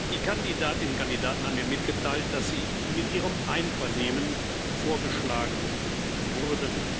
Die Kandidatinnen und Kandidaten haben mir mitgeteilt, dass sie mit ihrem Einvernehmen vorgeschlagen wurden.